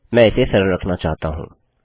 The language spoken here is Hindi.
मैं इसे सरल रखना चाहता हूँ